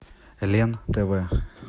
лен тв